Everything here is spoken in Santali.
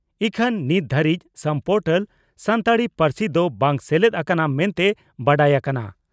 ᱤᱠᱷᱟᱹᱱ ᱱᱤᱛ ᱫᱷᱟᱹᱨᱤᱡ ᱥᱟᱢ ᱯᱚᱨᱴᱟᱞ ᱥᱟᱱᱛᱟᱲᱤ ᱯᱟᱹᱨᱥᱤ ᱫᱚ ᱵᱟᱝ ᱥᱮᱞᱮᱫ ᱟᱠᱟᱱᱟ ᱢᱮᱱᱛᱮ ᱵᱟᱰᱟᱭ ᱟᱠᱟᱱᱟ ᱾